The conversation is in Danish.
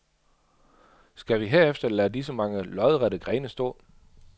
Skal vi herefter lade disse mange lodrette grene stå.